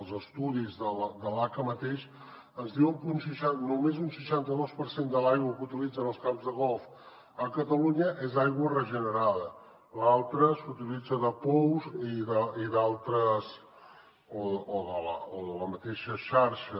els estudis de l’aca mateix ens diuen que només un seixanta dos per cent de l’aigua que utilitzen els camps de golf a catalunya és aigua regenerada l’altra s’utilitza de pous i d’altres o de la mateixa xarxa